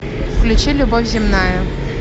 включи любовь земная